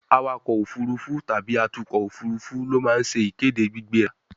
awakọ̀ òfurufú tàbí atukọ̀ òfurufú ló ma ń se ìkéde gbígbéra